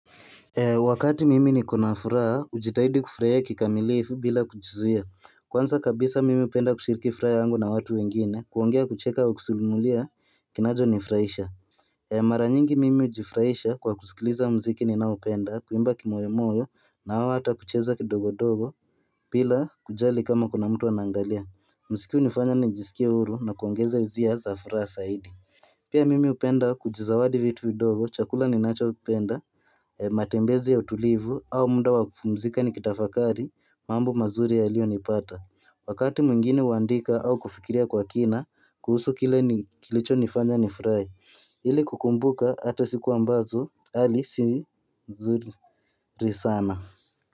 Wakati mimi nikona furaha hujitahidi kufurahia kikamilifu bila kujizuia Kwanza kabisa mimi hupenda kushiriki furaha yangu na watu wengine kuongea kucheka au kusimulia kinacho nifurahisha Maranyingi mimi hujifurahisha kwa kusikiliza muziki ni nao upenda kuimba kimoyomoyo na au hata kucheza kidogo dogo bila kujali kama kuna mtu anaangalia Muziki hunifanya nijisikie huru na kuongeza hisia za furaha zaidi Pia mimi hupenda kujizawadi vitu vidogo chakula ninacho penda matembezi ya utulivu au muda wakupumzika nikitafakari mambo mazuri yaliyo nipata wakati mwingine huandika au kufikiria kwa kina kuhusu kile kilicho nifanya nifurahi ili kukumbuka hata siku ambazo hali si nzuri sana.